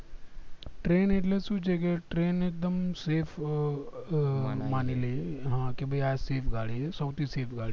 train એટલે સુ છે કે train એક દમ safe અ માની લિયે મેં કે બે આં સૌથી